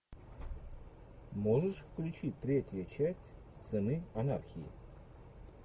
можешь включить третья часть сыны анархии